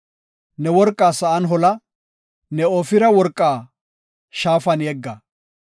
Ne worqaa sa7an hola; ne Ofira worqaa shaafan yegga.